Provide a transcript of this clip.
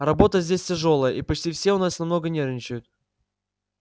работа здесь тяжёлая и почти все у нас немного нервничают